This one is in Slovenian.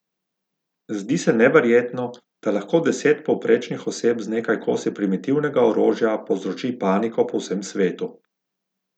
Zdi se neverjetno, da lahko deset povprečnih oseb z nekaj kosi primitivnega orožja povzroči paniko po vsem svetu.